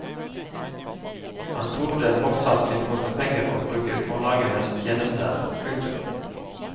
Han tror det fortsatt vil koste penger å bruke forlagenes tjenester. punktum